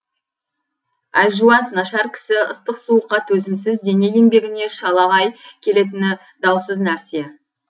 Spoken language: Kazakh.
әлжуаз нашар кісі ыстық суыққа төзімсіз дене енбегіне шалағай келетіні даусыз нәрсе